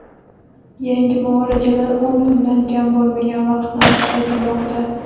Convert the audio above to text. Yangi muolajalar o‘n kundan kam bo‘lmagan vaqtni olishi aytilmoqda.